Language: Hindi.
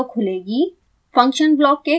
एक अन्य विंडो खुलेगी